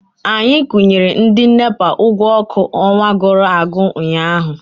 Anyị kwụnyere ndị NEPA ụgwọ ọkụ ọnwa gụrụ agwụ ụnyaahụ.